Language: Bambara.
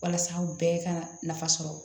Walasa u bɛɛ ka nafa sɔrɔ